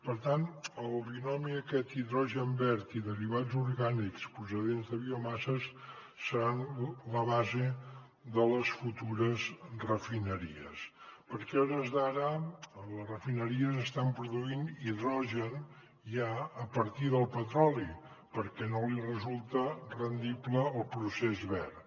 per tant el binomi aquest hidrogen verd i derivats orgànics procedents de biomasses serà la base de les futures refineries perquè a hores d’ara les refineries estan produint hidrogen ja a partir del petroli perquè no els resulta rendible el procés verd